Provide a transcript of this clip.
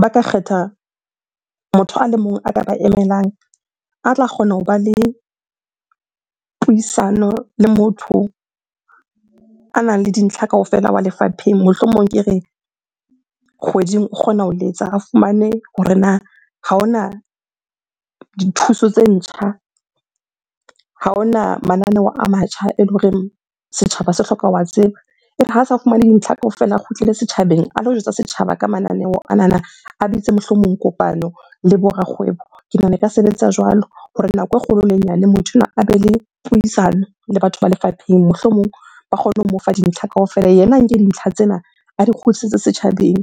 ba ka kgetha motho a le mong a ka ba emelang, a tla kgona ho ba le puisano le motho anang le dintlha kaofela wa lefapheng. Mohlomong ke re kgweding, o kgona ho letsa a fumane hore na ha hona dithuso tse ntjha, ha hona mananeo a matjha eleng horeng setjhaba se hloka ho wa tseba? Ere ha sa fumane dintlha kaofela, a kgutlele setjhabeng a lo jwetsa setjhaba ka mananeo anana. A bitse mohlomong kopano le bo rakgwebo. Ke nahana e ka sebetsa jwalo hore nako e kgolo le e nyane motho enwa a be le puisano le batho ba lefapheng, mohlomong ba kgone ho mo fa dintlha kaofela. Yena a nke dintlha tsena a di kgutlisetse setjhabeng.